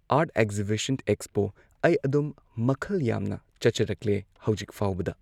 art exhibition expo ꯑꯩ ꯑꯗꯨꯝ ꯃꯈꯜ ꯌꯥꯝꯅ ꯆꯠꯆꯔꯛꯂꯦ ꯍꯧꯖꯤꯛ ꯐꯥꯎꯕꯗ